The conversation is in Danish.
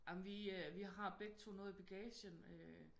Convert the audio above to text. Jamen vi vi har begge to noget i bagagen øh